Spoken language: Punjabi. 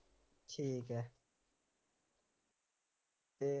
ਠੀਕ ਹੈ ਅਤੇ